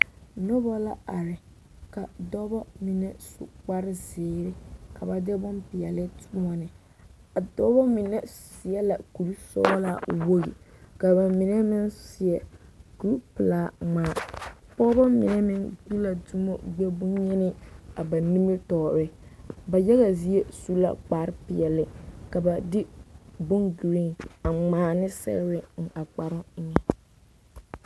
Noba la are ka dɔbɔ mine su kpare zeere ka ba de bompeɛle toɔne a dɔɔ mine seɛ la kuri sɔɔlaa wogi ka ba mine meŋ seɛ kuri pelaa ŋmaa pɔgebɔ mine meŋ gbi la dumu gbɛ-bonyeni a ba nimitɔɔreŋ, ba yaga zie su la kpare peɛle ka ba de bon-giriin a ŋmaa ne sɛgere eŋ a kparoo.